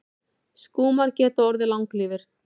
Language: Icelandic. Skúmar geta orðið langlífir.